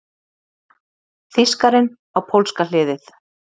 Þýskarinn á pólska hliðið!